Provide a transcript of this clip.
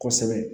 Kosɛbɛ